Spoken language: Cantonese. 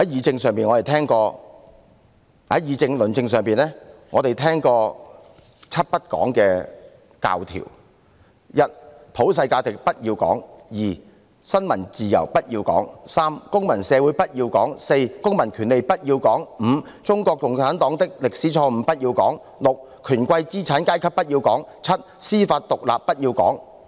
在議政論政上，我們聽過"七不講"的教條：一，普世價值不要講；二，新聞自由不要講；三，公民社會不要講；四，公民權利不要講；五，中國共產黨的歷史錯誤不要講；六，權貴資產階級不要講；七，司法獨立不要講。